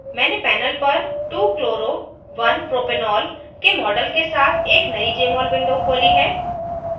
मैंने panel पर 2chloro1propanol के model के साथ एक नयी jmol window खोली है